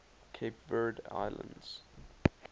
cape verde islands